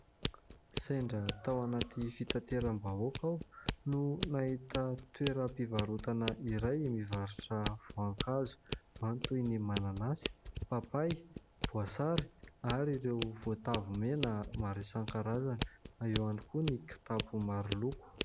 Sendra tao anaty fitateram-bahoaka aho no nahita toeram-pivarotana iray mivarotra voankazo ao ny toy ny mananasy, papay, voasary ary ireo voatavo mena maro isankarazany, eo ihany koa ny kitapo maro loko.